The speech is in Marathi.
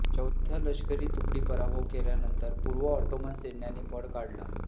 चौथ्या लष्करी तुकडी पराभव केल्यानंतर पूर्व ऑट्टोमन सैन्याने पळ काढला